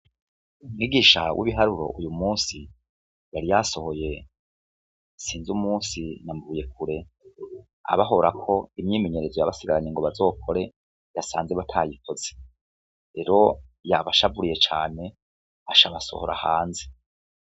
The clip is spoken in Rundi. Umwigisha w'ibiharuro uyu musi yari yasohoye sinze umusi nambuye kure abahorako imyimenyerezo yabasigaranye ngo bazokore yasanze batayikoze rero yabashaburiye cane ashabasohora hanze.